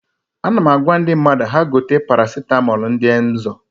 Ana m agwa ndị mmadụ ha gote paracitamọl ndị Emzor